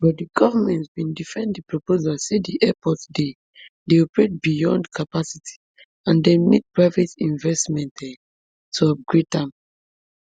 but di goment bin defend di proposal say di airport dey dey operate beyond capacity and dem need private investment um to upgrade am